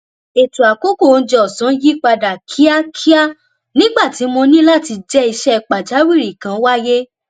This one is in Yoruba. ètò àkókò oúnjẹ òsán yí padà kíákíá nígbà tí mo ní láti jẹ iṣẹ pàjáwìrì kan wáyé